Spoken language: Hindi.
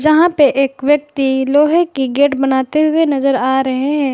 जहां पे एक व्यक्ति लोहे की गेट बनाते हुए नजर आ रहे हैं।